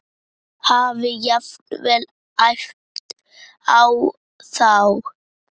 Hafi jafnvel æpt á þá.